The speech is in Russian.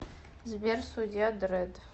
сбер судья дрэдд